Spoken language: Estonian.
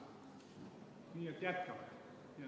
Nii et jätkame.